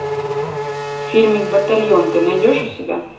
фильмик батальон ты найдешь у себя